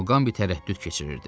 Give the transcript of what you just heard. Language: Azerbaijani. Muqambi tərəddüd keçirirdi.